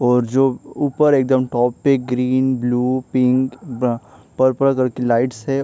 और जो ऊपर एकदम टॉप पे ग्रीन ब्लू पिंक ब्र पर्पल कलर की लाइट्स है।